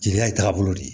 Jeliya ye taagabolo de ye